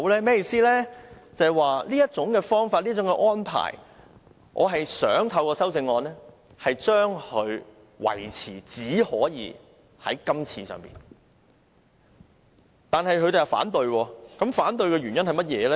便是對於這種方法和安排，我想透過修正案訂明只可以在今次適用，但他們反對，反對的原因是甚麼呢？